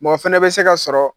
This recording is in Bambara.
Mɔ fɛnɛ bɛ se ka sɔrɔ